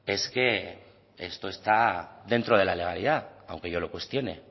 es que esto está dentro de la legalidad aunque yo lo cuestione